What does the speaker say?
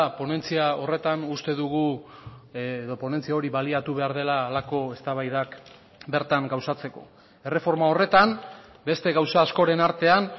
ponentzia horretan uste dugu edo ponentzia hori baliatu behar dela halako eztabaidak bertan gauzatzeko erreforma horretan beste gauza askoren artean